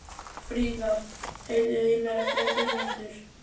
Frida, heyrðu í mér eftir ellefu mínútur.